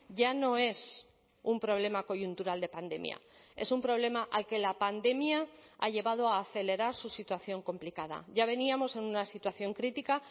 ya no es un problema coyuntural de pandemia es un problema al que la pandemia ha llevado a acelerar su situación complicada ya veníamos en una situación crítica